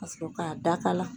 Ka sɔrɔ k'a dakala.